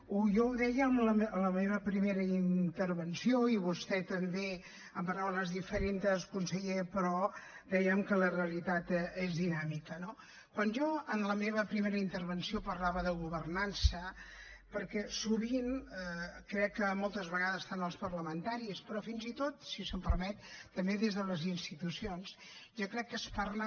jo ho deia en la meva primera intervenció i vostè també amb paraules diferents conseller però dèiem que la realitat és dinàmica no quan jo en la meva primera intervenció parlava de governança perquè sovint crec que moltes vegades tant els parlamentaris però fins i tot si se’m permet també des de les institucions jo crec que es parla